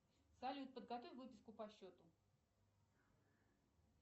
салют подготовь выписку по счету